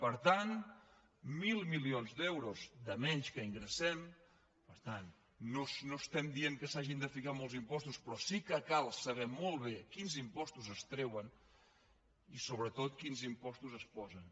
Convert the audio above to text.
per tant mil milions d’euros de menys que ingressem per tant no estem dient que s’hagin de ficar molts impostos però sí que cal saber molt bé quins impostos es treuen i sobretot quins impostos es posen